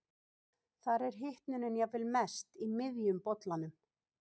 þar er hitunin jafnvel mest í miðjum bollanum